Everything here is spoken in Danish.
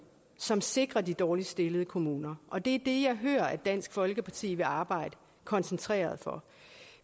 som sikrer de dårligst stillede kommuner og det det jeg hører at dansk folkeparti vil arbejde koncentreret for